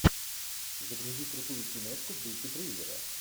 загрузи крутую киношку в духе триллера